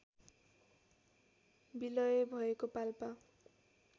विलय भएको पाल्पा